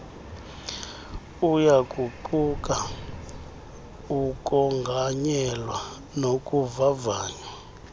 uyakuquka ukonganyelwa nokuvavanywa